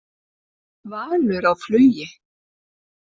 Valur á flugi